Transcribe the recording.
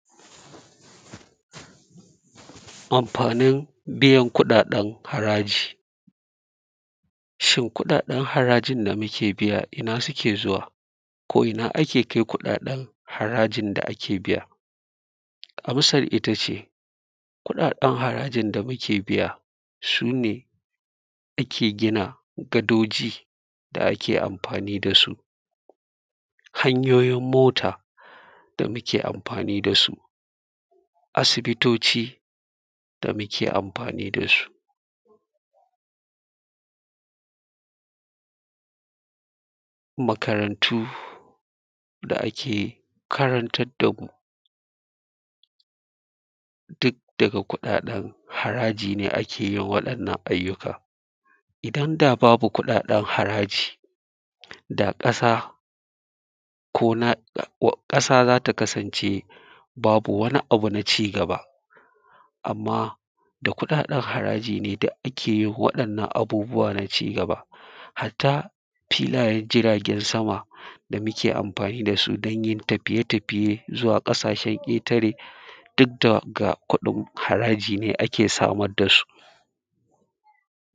Amfanin biyan kuɗaɗen haraji shin kuɗaɗen harajin da muke biya ina suke zuwa ko ina ake kai kuɗaɗen harajin da ake biya amsar ita ce, kuɗaɗen harajin da muke biya su ne ake gina gadoji da ake amfani da su hanyoyin mota da muke amfani da su, asibitoci da muke amfani da su,, makarantu da ake karantar da ku duk daga kuɗaɗen haraji ne ake yin waɗannan aiyuka Idan da babu kuɗaɗen haraji ƙasa ko ina ƙasa za ta kasancebabu wani abu na cigaba, amma da kuɗaɗen haraji ne duk ake yin waɗannan abubuwa na cigaba hatta filayen jiragensama da muke amfani da su don yin tafiye tafiye zuwa ƙasashen ƙetare duk daga kuɗin haraji ne ake samar da su.